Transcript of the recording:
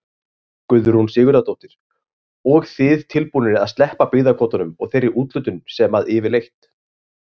Guðrún Sigurðardóttir: Og þið tilbúnir að sleppa byggðakvótanum og þeirri úthlutun sem að yfirleitt?